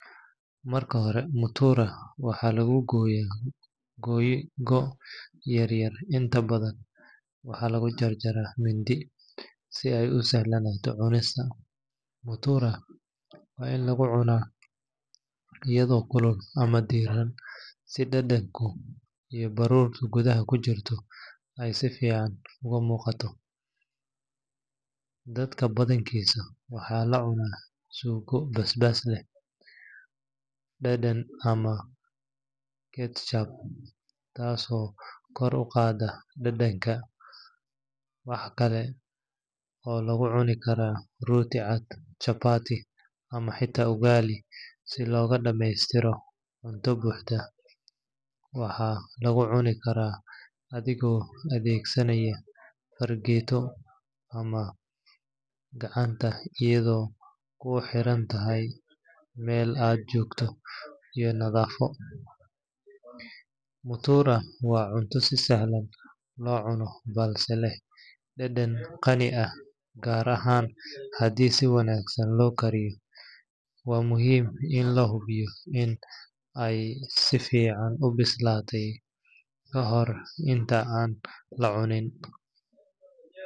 Cunista mutura waa arrin fudud oo raaxo leh, balse si fiican ayey u yeelanaysaa marka aad raacdo qaar ka mid ah talooyinka soo socdo, Marka hore, mutura waxaa lagu gooyaa googo’ yaryar inta badan waxaa lagu jarjarayaa mindi, si ay u sahlanaato cunista. Mutura waa in lagu cunaa iyadoo kulul ama diiran, si dhadhanka iyo baruurta gudaha ku jirta ay si fiican uga muuqato. Dadka badankiis waxay la cunaan suugo basbaas leh, dhanaan ama ketchup, taasoo kor u qaadda dhadhanka. Waxa kale oo lagu cuni karaa rooti cad, chapati, ama xitaa ugali si loogu dhammaystiro cunto buuxda. Waxaa lagu cuni karaa adigoo adeegsanaya fargeeto ama gacanta, iyadoo kuxiran meel aad joogto iyo nadaafadda. Mutura waa cunto si sahlan loo cuno balse leh dhadhan qani ah, gaar ahaan haddii si wanaagsan loo kariyey. Waa muhiim in la hubiyo in ay si fiican u bislaatay ka hor inta aan la cunin.